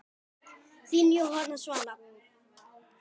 Þín Jóhanna Svala.